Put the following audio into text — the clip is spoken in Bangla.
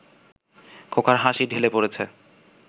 খোকার হাসি ঢেলে পড়েছে